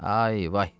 Ay, vay.